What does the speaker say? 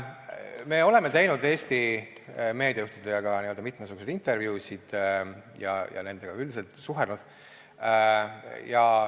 Me oleme teinud Eesti meediajuhtidega mitmesuguseid intervjuusid ja nendega suhelnud.